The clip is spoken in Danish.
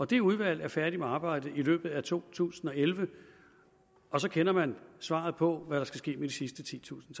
det udvalg er færdig med arbejdet i løbet af to tusind og elleve og så kender man svaret på hvad der skal ske med de sidste titusind